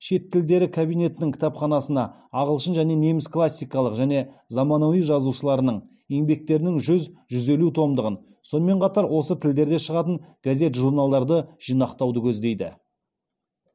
шет тілдері кабинетінің кітапханасына ағылшын және неміс классикалық және замануи жазушыларының еңбектерінің жүз жүз елу томдығын сонымен қатар осы тілдерде шығатын газет журналдарды жинақтауды көздейді